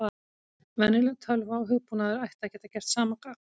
Venjuleg tölva og hugbúnaður ætti að geta gert sama gagn.